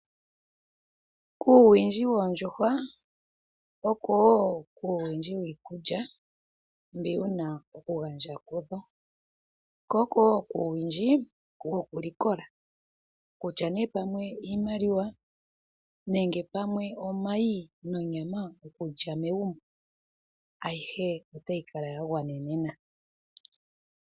Kuuwindji woondjuhwa, oko wo kuuwindji wiikulya mbi wu na okugandja kudho, ko oko wo kuuwindji wokulikola. Kutya nduno pamwe iimaliwa, omayi nonyama okulya megumbo, ayihe otayi kala ya gwanenena.